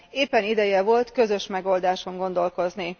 Éppen ideje volt közös megoldáson gondolkozni.